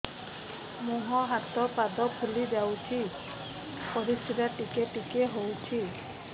ମୁହଁ ହାତ ପାଦ ଫୁଲି ଯାଉଛି ପରିସ୍ରା ଟିକେ ଟିକେ ହଉଛି